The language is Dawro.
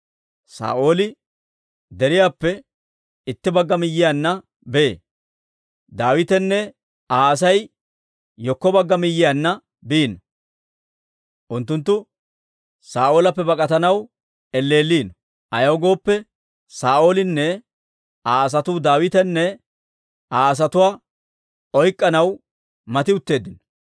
Saa'ooli deriyaappe itti bagga miyyiyaanna bee; Daawitenne Aa Asay hinkko bagga miyyiyaanna biino. Unttunttu Saa'oolappe bak'atanaw elleelliino; ayaw gooppe, Saa'oolinne Aa asatuu, Daawitanne Aa asatuwaa oyk'k'anaw mati utteeddino.